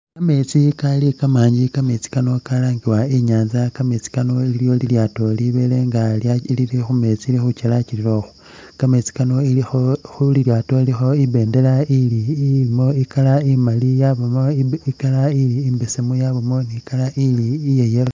Kameetsi Kali kamanji kameetsi Kano kalangiwa inyanza kameetsi Kano iliwo lilyaato libele nga lili khumeetsi Lili khuchelachelelokhwo kameetsi Kano ilikho khu khu'lyaato ipendela ili ilimo i'colour imaali yabaamo i'colour imbesemu yabaamo i'colour ili iya' yellow